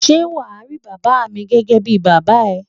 Ṣé wà á rí bàbá mi gẹ́gẹ́ bí bàbá ẹ?